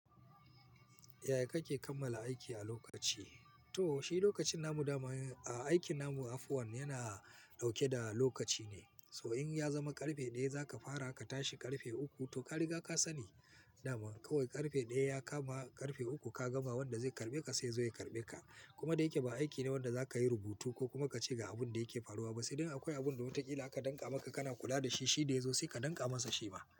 Yaya kake kammala aiki a lokaci? To, shi lokacin namu dama ai aikin namu afuwan yana ɗauke da lokaci ne. To in ya zama ƙarfe ɗaya za ka fara, ka tashi ƙarfe uku to ka riga ka sani. Daman kawai ƙarfe ɗaya ya kama, ƙarfe uku ka gama, wanda zai karɓe ka sai ya zo ya karɓe ka, kuma da yake ba aiki ne wanda za ka yi rubutu ko kuma ka ce ga abun da yake faruwa ba sai dai in akwai abin da wataƙila aka danƙa maka kana kula da shi, shi da ya zo sai ka danƙa masa shi ma.